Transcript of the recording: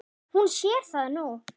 Hún sér það nú.